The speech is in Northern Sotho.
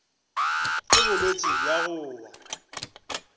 ke bolwetši bja go wa